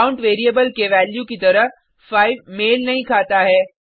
count variable के value की तरह 5 मेल नहीं खाता है